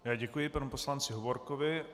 Já děkuji panu poslanci Hovorkovi.